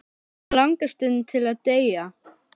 Hana langar stundum til að deyja.